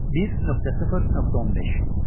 1.0.15.